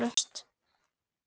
Eilíft haust.